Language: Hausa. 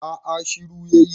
a a shiru ya yi